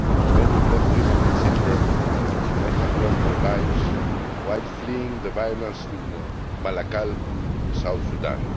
many of them women and children may have lost their lives while fleeing the violence in Malakal, South Sudan.